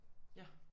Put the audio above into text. Ja